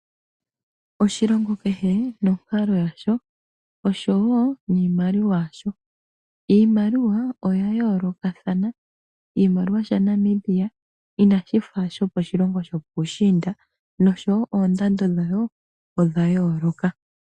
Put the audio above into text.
Oshilongo kehe nonkalo yasho osho wo niimaliwa yasho. Iimaliwa oya yoolokathana, oshimaliwa sha Namibia inashi fa shoko shilongo shopuushiinda nosho wo oondando dhayo odha yooloka.